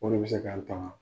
Bolo bɛ se k'ale